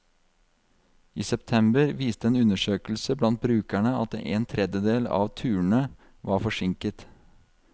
I september viste en undersøkelse blant brukerne at en tredjedel av turene var forsinket.